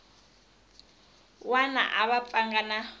wana a va pfanga na